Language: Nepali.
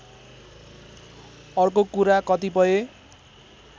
अर्को कुरा कतिपय